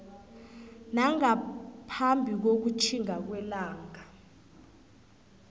nangaphambi kokutjhinga kwelanga